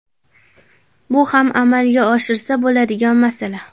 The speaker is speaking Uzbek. Bu ham amalga oshirsa bo‘ladigan masala.